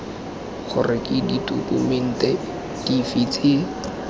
gore ke ditokumente dife tse